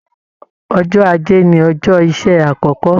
Ọjọ́ ajé ní ọjọ iṣẹ àkọkọ.